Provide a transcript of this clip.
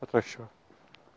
отращу